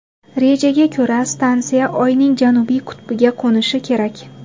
Rejaga ko‘ra, stansiya Oyning janubiy qutbiga qo‘nishi kerak.